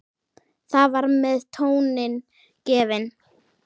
Þar með var tónninn gefinn.